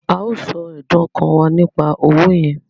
À á sọ ẹ̀dùn-ọkàn wá nípa owó yẹn